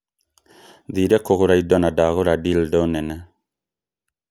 thire kũgũra indo na ndagũra dildo nene.